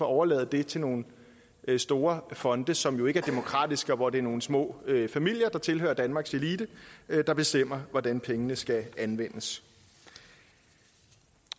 overlade det til nogle store fonde som jo ikke er demokratiske hvor det er nogle små familier som tilhører danmarks elite der bestemmer hvordan pengene skal anvendes